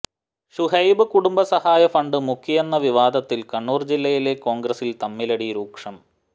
ഷുഹൈബ് കുടുംബ സഹായ ഫണ്ട് മുക്കിയെന്ന വിവാദത്തിൽ കണ്ണൂർ ജില്ലയിലെ കോൺഗ്രസിൽ തമ്മിലടി രൂക്ഷം